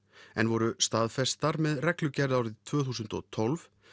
en voru staðfestar með reglugerð árið tvö þúsund og tólf